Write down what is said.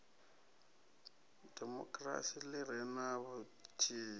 demokirasi ḽi re na vhuthihi